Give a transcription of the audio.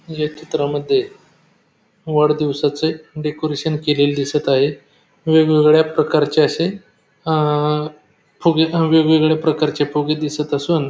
या चित्रामध्ये वाढदिवसाचे डेकोरेशन केलेले दिसत आहे वेगवेगळ्या प्रकारचे असे अ फुगे असे वेगवेगळ्या प्रकारचे फुगे दिसत असून --